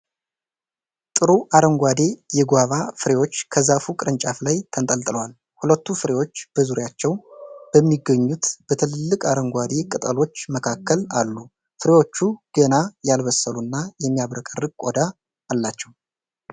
ጥሩ አረንጓዴ የጓቫ ፍሬዎች ከዛፉ ቅርንጫፍ ላይ ተንጠልጥለዋል። ሁለቱ ፍሬዎች በዙሪያቸው በሚገኙት በትልልቅ አረንጓዴ ቅጠሎች መካከል አሉ። ፍሬዎቹ ገና ያልበሰሉና የሚያብረቀርቅ ቆዳ አላቸው።